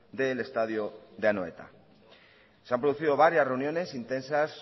del estadio de anoeta se han producido varias reuniones intensas